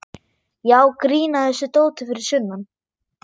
Já, grín að þessu dóti fyrir sunnan.